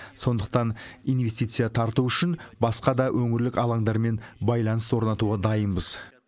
сондықтан инвестиция тарту үшін басқа да өңірлік алаңдармен байланыс орнатуға дайынбыз